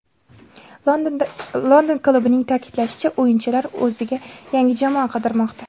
London klubining ta’kidlashicha, o‘yinchilar o‘ziga yangi jamoa qidirmoqda.